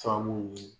Faamu ni